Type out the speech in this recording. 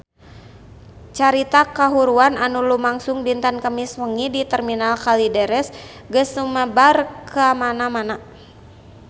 Carita kahuruan anu lumangsung dinten Kemis wengi di Terminal Kalideres geus sumebar kamana-mana